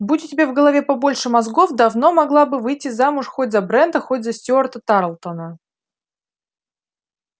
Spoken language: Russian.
будь у тебя в голове побольше мозгов давно могла бы выйти замуж хоть за брента хоть за стюарта тарлтона